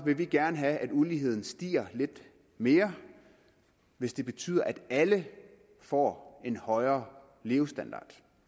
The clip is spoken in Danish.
vil vi gerne have at uligheden stiger lidt mere hvis det betyder at alle får en højere levestandard